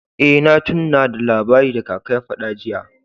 Eh, na tunna da labari da kaka ya fada jiya.